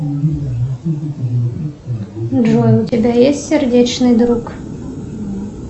джой у тебя есть сердечный друг